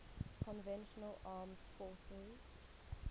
conventional armed forces